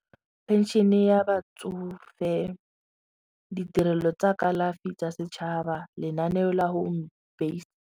Pension-e ya batsofe, ditirelo tsa kalafi tsa setšhaba lenaneo la home based.